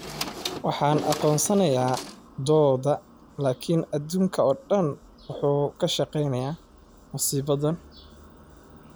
"Waxaan aqoonsanayaa da'dooda laakiin adduunka oo dhan wuu ka shaqeynayaa masiibadan."